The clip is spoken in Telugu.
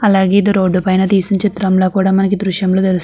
అలాగే ఇది రోడ్డు పైన తీసిన చిత్రంలా మనకి ఈ దృశ్యం లో తెలుస్తు --